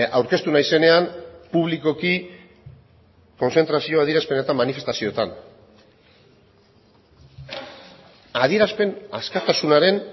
aurkeztu naizenean publikoki kontzentrazio adierazpenetan manifestazioetan adierazpen askatasunaren